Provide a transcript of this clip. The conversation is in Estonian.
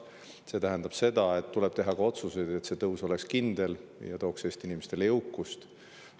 See tähendab, et tuleb teha ka otsuseid selle jaoks, et see tõus oleks kindel ja tooks Eesti inimestele jõukust.